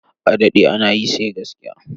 A daɗɗe ana yi, sai gaskiya.